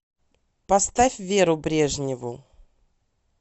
поставь веру брежневу